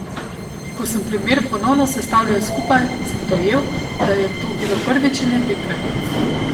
Ko sem primer ponovno sestavljal skupaj, sem dojel, da je to bilo prvič in edinkrat.